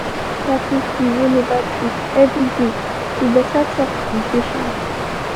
he been practice the roll over trick everyday with better talk and patience